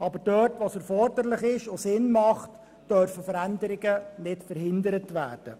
Dort, wo es Sinn macht, dürfen Veränderungen nicht verhindert werden.